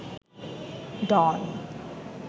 ডন